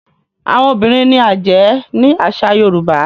Àwọn obìrin ní ajé ní àsà yorùbá.